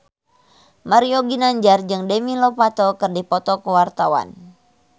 Mario Ginanjar jeung Demi Lovato keur dipoto ku wartawan